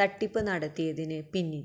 തട്ടിപ്പ് നടത്തിയതിന് പിന